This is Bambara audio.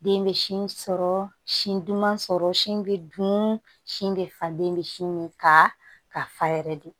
Den bɛ sin sɔrɔ sin duman sɔrɔ sin bɛ dun sin bɛ falen bɛ sin min ka ka fa yɛrɛ de